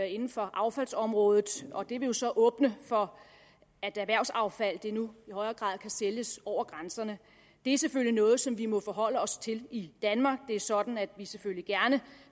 inden for affaldsområdet og det vil jo så åbne for at erhvervsaffald nu i højere grad kan sælges over grænserne det er selvfølgelig noget som vi må forholde os til i danmark det er sådan at vi selvfølgelig gerne